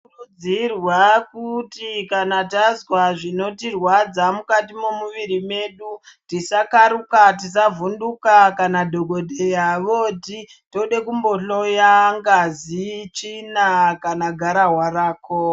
Tinokurudzirwa kuti kana tazwa zvinotirwadza mukati mwemuviri medu tisakaruka, tisavhunduka kana dhogodheya voti todekumbohloya ngazi, tsvina kana gararwa rako.